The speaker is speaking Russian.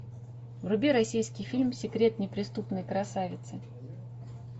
вруби российский фильм секрет неприступной красавицы